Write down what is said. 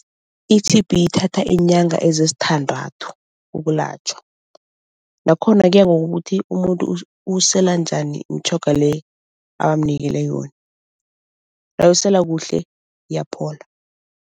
I-T_B ithatha iinyanga ezisithandathu ukulatjhwa. Nakhona kuya ngokuthi umuntu uyisela njani imitjhoga le abamnikele yona. Nawuyisela kuhle, iyaphola.